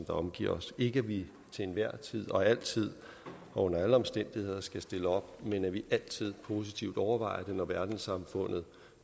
omgiver os ikke at vi til enhver tid og altid og under alle omstændigheder skal stille op men at vi altid positivt overvejer det når verdenssamfundet